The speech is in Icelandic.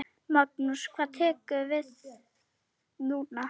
Magnús: Hvað tekur við núna?